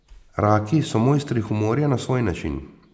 Raki so mojstri humorja na svoj račun.